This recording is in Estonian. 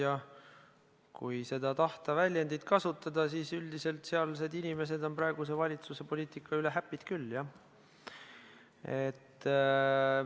Ja kui tahta seda väljendit kasutada, siis on sealsed inimesed praeguse valitsuse poliitika üle happy'd küll, jah.